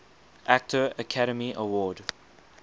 actor academy award